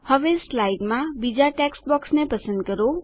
હવે સ્લાઇડમાં બીજાં ટેક્સ્ટ બોક્સને પસંદ કરો